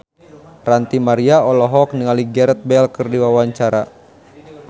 Ranty Maria olohok ningali Gareth Bale keur diwawancara